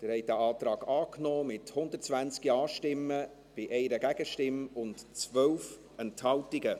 Sie haben diesen Antrag angenommen, mit 120 Ja-Stimmen gegen 1 Nein-Stimme bei 12 Enthaltungen.